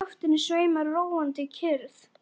Í loftinu sveimar róandi kyrrð.